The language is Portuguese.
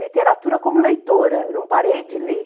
literatura como leitora, eu não parei de ler.